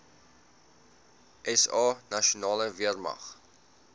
sa nasionale weermag